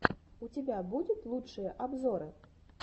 у тебя будет лучшие обзоры